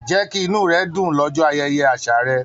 Jẹ kí inú rẹ dùn l'ọjọ ayẹyẹ àṣà rẹ!